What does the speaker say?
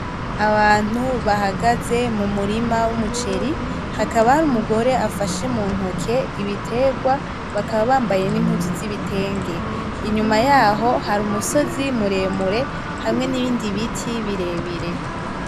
Abantu bahagaze mumurima wumuceri. Hakaba hari umugore afashe mu ntoke ibiterwa, bakaba bambaye n'impuzu zibitenge. Inyuma yaho hari umusozi muremure hamwe n’ibindi biti birebire.